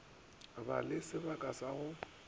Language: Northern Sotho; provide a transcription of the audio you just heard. ba le sebaka sa go